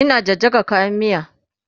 Ina jajjaga kayan miya